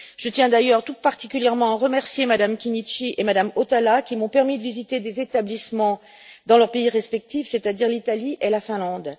Je tiens d'ailleurs tout particulièrement à remercier Mme Chinnici et Mme Hautala qui m'ont permis de visiter des établissements dans leur pays respectif, c'est à dire l'Italie et la Finlande.